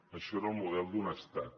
això era el model d’un estat